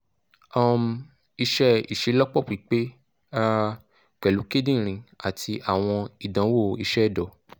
um iṣẹ iṣelọpọ pipe um pẹlu kidirin ati awọn idanwo iṣẹ ẹdọ